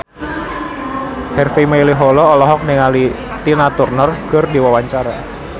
Harvey Malaiholo olohok ningali Tina Turner keur diwawancara